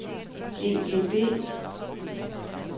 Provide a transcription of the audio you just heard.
EDB